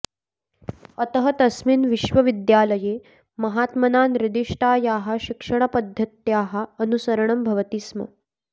अतः तस्मिन् विश्वविद्यालये महात्मना निर्दिष्टायाः शिक्षणपद्धत्याः अनुसरणं भवति स्म